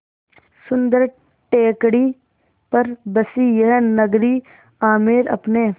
सुन्दर टेकड़ी पर बसी यह नगरी आमेर अपने